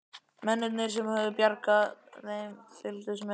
Mennirnir sem höfðu bjargað þeim fylgdust með.